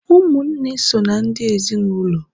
ụmụnne so na ndị ezinụlọ